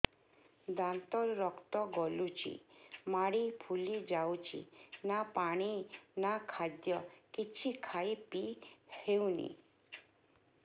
ଦାନ୍ତ ରୁ ରକ୍ତ ଗଳୁଛି ମାଢି ଫୁଲି ଯାଉଛି ନା ପାଣି ନା ଖାଦ୍ୟ କିଛି ଖାଇ ପିଇ ହେଉନି